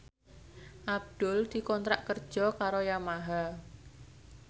Abdul dikontrak kerja karo Yamaha